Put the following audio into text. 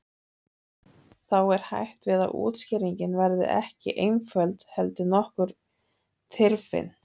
Þá er hætt við að útskýringin verði ekki einföld heldur nokkuð tyrfin.